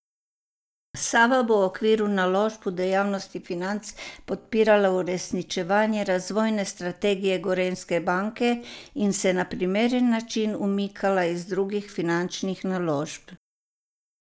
Sava bo v okviru naložb v dejavnosti financ podpirala uresničevanje razvojne strategije Gorenjske banke in se na primeren način umikala iz drugih finančnih naložb.